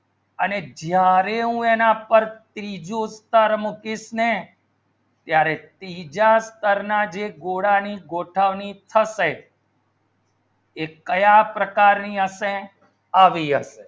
અને જ્યારે અને ત્રીજો ઉત્તર મુખી નેત્યારે ત્રીજા ગોળના ગોળા ની ગોઠા અની થશે તે ત્યાં પ્રકાર ની અસે આવ્યો